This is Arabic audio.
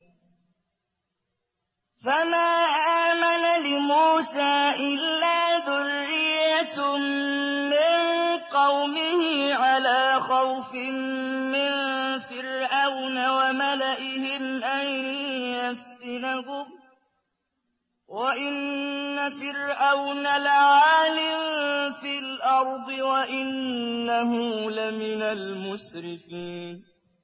فَمَا آمَنَ لِمُوسَىٰ إِلَّا ذُرِّيَّةٌ مِّن قَوْمِهِ عَلَىٰ خَوْفٍ مِّن فِرْعَوْنَ وَمَلَئِهِمْ أَن يَفْتِنَهُمْ ۚ وَإِنَّ فِرْعَوْنَ لَعَالٍ فِي الْأَرْضِ وَإِنَّهُ لَمِنَ الْمُسْرِفِينَ